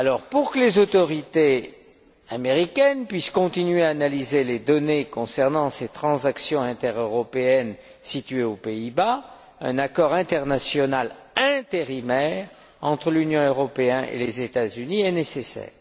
Pour que les autorités américaines puissent continuer à analyser les données concernant ces transactions intereuropéennes situées aux Pays Bas, un accord international intérimaire entre l'Union européenne et les États Unis est nécessaire.